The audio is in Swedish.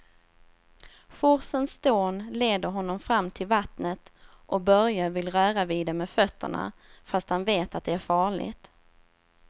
Forsens dån leder honom fram till vattnet och Börje vill röra vid det med fötterna, fast han vet att det är farligt.